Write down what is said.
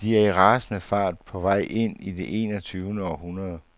De er i rasende fart på vej ind i det enogtyvende århundrede.